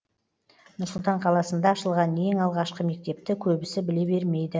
нұр сұлтан қаласында ашылған ең алғашқы мектепті көбісі біле бермейді